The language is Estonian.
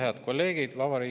Head kolleegid!